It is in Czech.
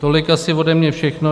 Tolik asi ode mě všechno.